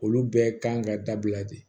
Olu bɛɛ kan ka dabila de